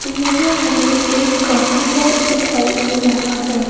यहां हमें एक कॉफी शॉप दिखाई दे रहा है।